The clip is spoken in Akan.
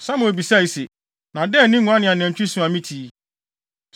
Samuel bisae se, “Na dɛn ne nguan ne anantwi su a mete yi?”